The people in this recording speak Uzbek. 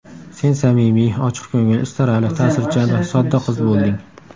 Sen samimiy, ochiqko‘ngil, istarali, ta’sirchan va sodda qiz bo‘lding.